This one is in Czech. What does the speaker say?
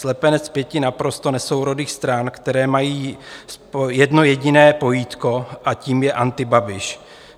Slepenec pěti naprosto nesourodých stran, které mají jedno jediné pojítko, a tím je antibabiš.